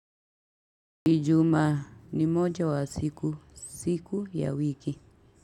Ijuma ni moja wa siku siku ya wiki.